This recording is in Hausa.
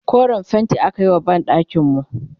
koren fainti akayi wa banɗakinku